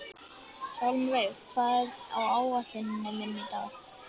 Hjálmveig, hvað er á áætluninni minni í dag?